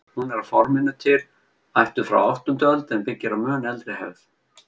Hún er að forminu til ættuð frá áttundu öld en byggir á mun eldri hefð.